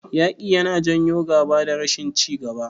Yaƙi yana janyo gaba da rashin ci gaba.